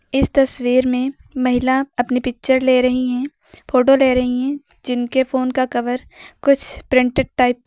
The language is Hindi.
इस तस्वीर में महिला अपनी पिक्चर ले रही हैं फोटो ले रही हैं जिनके फोन का कवर कुछ प्रिंटेड टाइप का है।